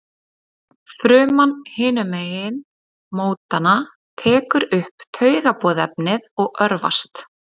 fruman hinum megin mótanna tekur upp taugaboðefnið og örvast